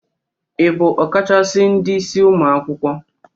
Ị bụ ọkachasị ndị isi ụmụ akwụkwọ?